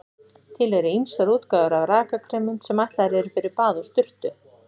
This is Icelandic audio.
Til eru ýmsar útgáfur af rakakremum sem ætlaðar eru fyrir bað og sturtu.